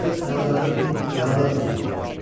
Qoy ayaqların qanada dönsün.